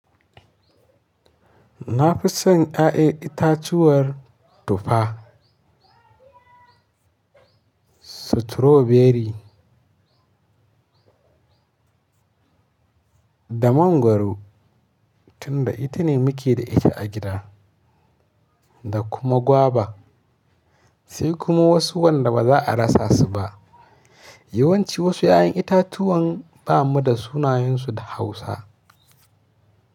Na fi son ya'yan itatuwar tufa, stroberi da mangwaro tunda ita ne muke da ita a gida da kuma gwaba. Sai kuma wasu wanda ba za a rasa su ba. Yawanci wasu 'ya'yan itatuwan ba mu da sunayensu da Hausa.